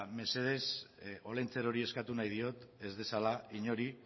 mesedez olentzerori eskatu nahi diot ez dezala inori